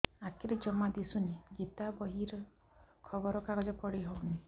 ଆଖିରେ ଜମା ଦୁଶୁନି ଗୀତା ବହି ଖବର କାଗଜ ପଢି ହଉନି